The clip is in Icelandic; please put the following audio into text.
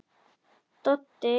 Doddi játti því.